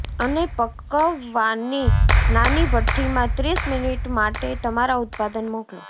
અને પકાવવાની નાની ભઠ્ઠી માં ત્રીસ મિનિટ માટે તમારા ઉત્પાદન મોકલો